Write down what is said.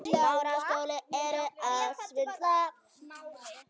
Af mörgu skal mat hafa.